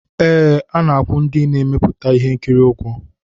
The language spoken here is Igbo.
Ee, a na-akwụ ndị mmepụta ihe nkiri ụgwọ